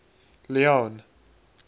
leone